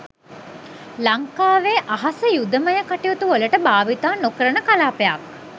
ලංකාවේ අහස යුදමය කටයුතු වලට භාවිතා නොකරන කලාපයක්